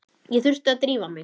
Ég þurfti að drífa mig.